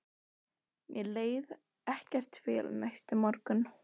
Mér leið ekkert vel næsta morgun.